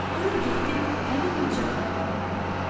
Durub getdi həmin qoca qarının yanına.